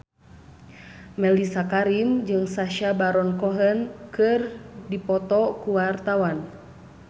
Mellisa Karim jeung Sacha Baron Cohen keur dipoto ku wartawan